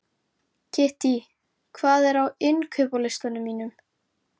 Kittý, hvað er á innkaupalistanum mínum?